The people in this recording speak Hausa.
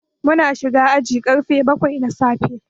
Mun shiga aji karfe bakwai na safe.